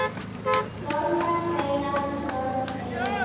Stormar kveina, körg er lund.